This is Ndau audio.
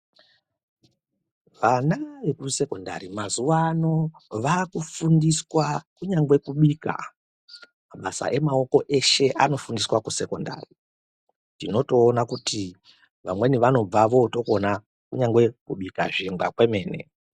Ana ekusekondari mazuwa ano vaakufundiswa kunyangwe kubika mabasa emaoko eshe anofundiswa kusekondari tinotoona kuti vamweni vanobva vootokona kunyangwe kubika zvingwa kwemene.